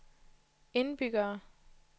indbyggere